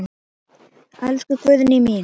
Elsku Guðný mín.